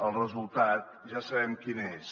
el resultat ja sabem quin és